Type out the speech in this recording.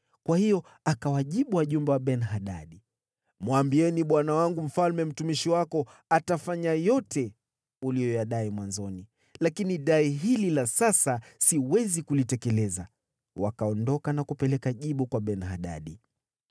Kwa hiyo akawajibu wajumbe wa Ben-Hadadi, “Mwambieni bwana wangu mfalme, ‘Mtumishi wako atafanya yote uliyoyadai mwanzoni, lakini dai hili la sasa siwezi kulitekeleza.’ ” Wakaondoka na kupeleka jibu kwa Ben-Hadadi.